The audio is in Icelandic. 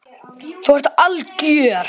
Þú ert algjör!